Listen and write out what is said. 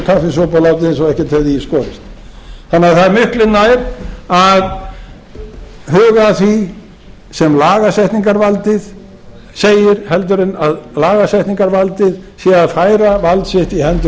látið eins og ekkert hefði skorist þannig að það er miklu nær að huga að því að sem lagasetningarvaldið segir heldur en að lagasetningarvaldið sé að færa vald sitt í hendur